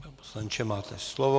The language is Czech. Pane poslanče, máte slovo.